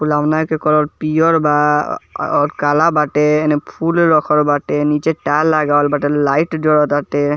फुलौना के कलर पियर बा अअ और काला बाटे एने फूल रखल बाटे नीचे टायर लगावल बाटे लाइट जरटाटे।